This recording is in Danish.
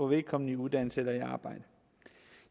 vedkommende i uddannelse eller arbejde